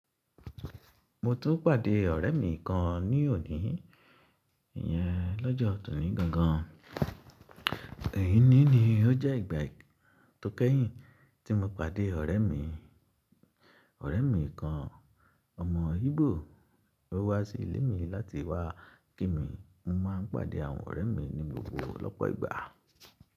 Mo tún pàdé ọ̀rẹ́ mi kan ní òní, ìyẹn lọ́jọ́ tòní gangan. Èyí ní ni ó jẹ́ ìgbà tó kẹ́yìn tí mo pàdé ọ̀rẹ́ mi. Ọ̀rẹ́ mi kan, ọmọ Ígbò, o wá sí ilé mi láti wá kí mi. Mo máa ń pàdé àwọn ọ̀rẹ́ mi ní gbogbo ọlọ́pọ̀ ìgbà.